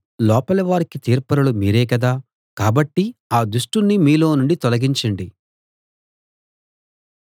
లోపలి వారికి తీర్పరులు మీరే కదా కాబట్టి ఆ దుష్టుణ్ణి మీలో నుండి తొలగించండి